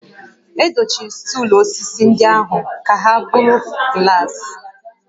Edochiri stuulu osisi ndị ahụ ka ha bụrụ glaasị